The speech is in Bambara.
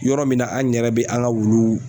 Yɔrɔ min na an yɛrɛ bɛ an ka wulu